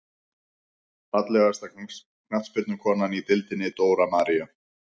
Fallegasta knattspyrnukonan í deildinni: Dóra María.